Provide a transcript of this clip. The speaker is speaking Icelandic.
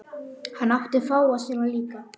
Hann átti fáa sína líka.